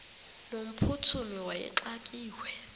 no mphuthumi wayexakiwe